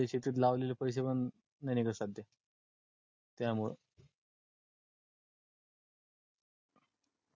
त्या शेतीत लावलेले पैसे पण नाय निगत सध्या त्या मुळ